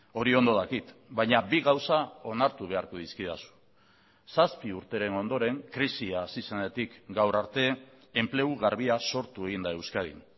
hori ondo dakit baina bi gauza onartu beharko dizkidazu zazpi urteren ondoren krisia hasi zenetik gaur arte enplegu garbia sortu egin da euskadin